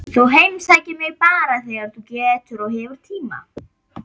Þú heimsækir mig bara þegar þú getur og hefur tíma.